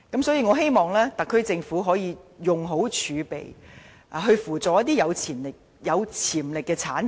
所以，我希望特區政府可以妥善運用儲備，扶助一些有潛力的產業。